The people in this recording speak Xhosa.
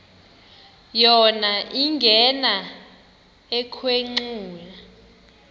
yona ingena ekhwenxua